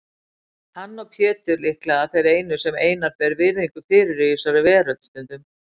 Hann og Pétur líklega þeir einu sem Einar ber virðingu fyrir í þessari veröld, stundum